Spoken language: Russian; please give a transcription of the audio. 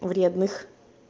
вредных